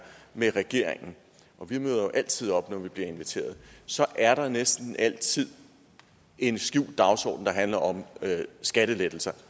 med regeringen og vi møder jo altid op når vi bliver inviteret så er der næsten altid en skjult dagsorden der handler om skattelettelser